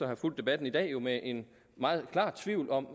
have fulgt debatten i dag jo med en meget klar tvivl om